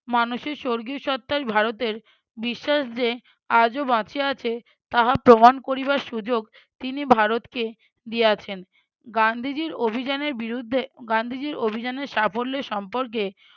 মানুষের স্বর্গীয় সত্তাই ভারতের বিশ্বাস যে আজও বাঁচিয়ে আছে, তাহা প্রমাণ করিবার সুযোগ তিনি ভারতকে দিয়াছেন। গান্ধীজীর অভিযানের বিরুদ্ধে গান্ধীজির অভিযানের সাফল্য সম্পর্কে